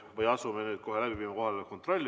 Asume nüüd kohe läbi viima kohaloleku kontrolli.